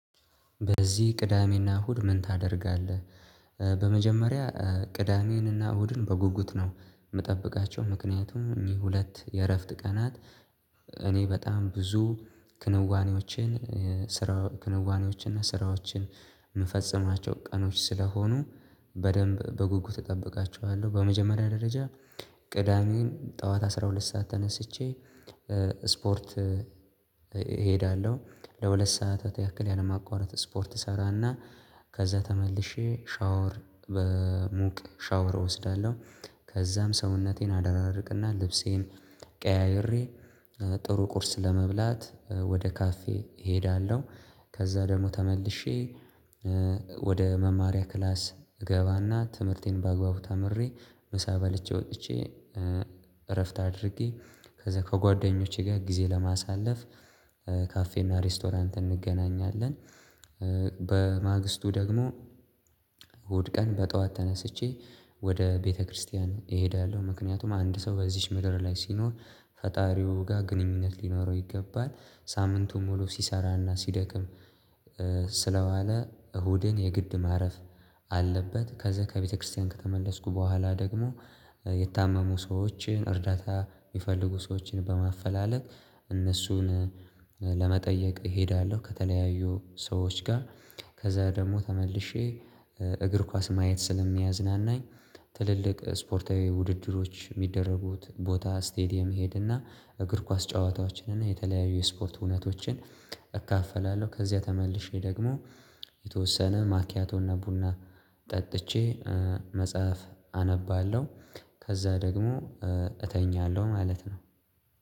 በዚህ ቅዳሜና እሁድ ምን ታደርጋለህ? በመጀመሪያ ቅዳሜንና እሁድን በጉጉት ነው የምጠብቃቸው ምክንያቱም የሁለት የእረፍት ቀናት እኔ በጣም ብዙ ክንዋኔዎችን ስራ ክንዋኔዎችን እና ስራዎችን የምፈጽማቸው ቀኖች ስለሆኑ በደንብ በጉጉት እጠብቃችኋለሁ በመጀመሪያ ደረጃ። ቅዳሜን ጠዋት አስራ ሁለት ሰዓት ተነስቼ ስፖርት እሄዳለሁ ለሁለት ሰዓታት ያክል ያለማ ቋረጥ ስፖርት እሰራና ከዛ ተመልሼ ሻወር በሙቅ ሻወር እወስዳለሁ ከዛም ሰውነቴን አደራርቅና ልብሴን ቀያይሬ ጥሩ ቁርስ ለመብላት ወደ ካፌ እሄዳለሁ። ከዛ ደግሞ ተመልሼ ወደ መማሪያ ክላስ እገባና ትምህርቴን በአግባቡ ተምሬ ምሳ በልቼ ወጥቼ እረፍት አድርጌ ከዛ ከጓደኞቼ ጋር ጊዜ ለማሳለፍ ካፌና ሬስቶራንት እንገናኛለን። በማገስቱ ደግሞ እሁድ ቀን በጠዋት ተነስቼ ወደ ቤተክርስቲያን እሄዳለሁ ምክንያቱም አንድ ሰው በዚህች ምድር ላይ ሲኖር ፈጣሪው ጋር ግንኙነት ሊኖረው ይገባል ሳምንቱም ሙሉ ሲሰራና ሲደክም ስለዋለ እሁድን የግድ ማረፍ አለበት። ከዛ ከቤተክርስቲያን ከተመለስኩ በኋላ ደግሞ የታመሙ ሰዎችን እርዳታ የሚፈልጉ ሰዎችን በማፈላለግ እነሱን ለመጠየቅ እሄዳለሁ ከተለያዩ ሰዎች ጋር ከዛ ደግሞ ተመልሼ እግር ኳስ ማየት ስለሚያዝናናኝ ትልልቅ ስፖርታዊ ውድድሮች የሚደረጉት ቦታ ስቴዲየም እሄድእና እግር ኳስ ጨዋታዎችን እና የተለያዩ የስፖርት እውነቶችን እካፈላለሁ። ከዚያ ተመልሼ ደግሞ የተወሰነ ማኪያቶና ቡና ጠጥቼ መጽሐፍ አነባለሁ ከዛ ደግሞ እተኛለሁ ማለት ነው